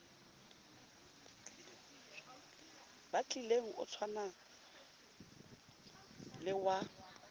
batlileng o tshwana le wa